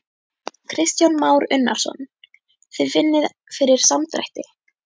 Kristján Már Unnarsson: Þið finnið fyrir samdrætti?